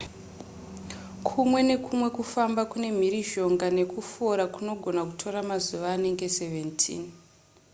kumwe nekumwe kufamba kune mhirizhonga nekufora kunogona kutora mazuva anenge 17